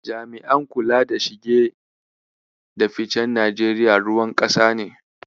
Jami'an kula da shige da ficen Najeriya ruwan ƙasa ne.